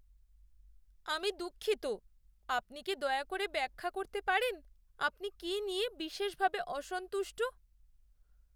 আমি দুঃখিত। আপনি কি দয়া করে ব্যাখ্যা করতে পারেন আপনি কী নিয়ে বিশেষভাবে অসন্তুষ্ট?